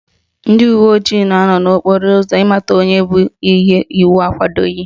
Ndị uwe ojii na-anọ n'okporo ụzọ ịmata onye bu ihe iwu akwadoghi